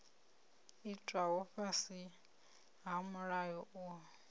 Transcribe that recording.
itwaho fhasi ha mulayo uyu